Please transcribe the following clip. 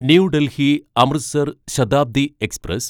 new Delhi Amritsar Shatabdi express